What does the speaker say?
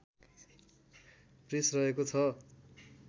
press रहेको छ